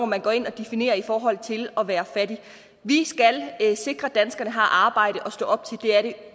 man går ind og definerer i forhold til at være fattig vi skal sikre at danskerne har arbejde at stå op til det er det